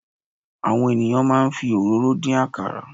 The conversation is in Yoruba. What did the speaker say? Àwọn ènìyàn máa ń fi òróró dín àkàrà.